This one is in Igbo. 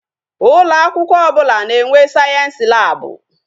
Ụlọ akwụkwọ ọbụla na-enwe sayensi lab.